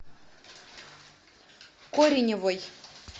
кореневой